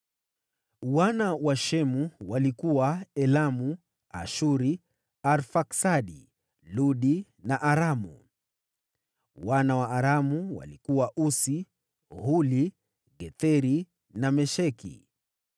Wana wa Shemu walikuwa: Elamu, Ashuru, Arfaksadi, Ludi na Aramu. Wana wa Aramu walikuwa: Usi, Huli, Getheri na Mesheki.